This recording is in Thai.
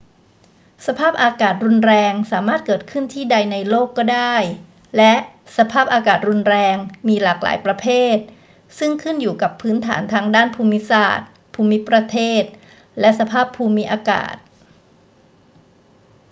สภาพอากาศรุนแรงสามารถเกิดขึ้นที่ใดในโลกก็ได้ และสภาพอากาศรุนแรงมีหลากหลายประเภทซึ่งขึ้นอยู่กับพื้นฐานทางด้านภูมิศาสตร์ ภูมิประเทศ และสภาพภูมิอากาศ